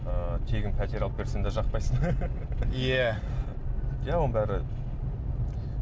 ыыы тегін пәтер алып берсең де жақпайсың иә иә оның бәрі